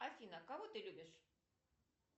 афина кого ты любишь